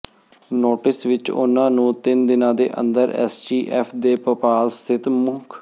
notice ਵਿਚ ਉਨ੍ਹਾਂ ਨੂੰ ਤਿੰਨ ਦਿਨਾਂ ਦੇ ਅੰਦਰ ਐਸਟੀਐਫ ਦੇ ਭੋਪਾਲ ਸਥਿਤ ਮੁੱ